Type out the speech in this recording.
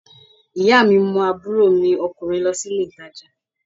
Ìyá mi mú àbúrò mi ọkùnrin lọ sí ilé ìtajà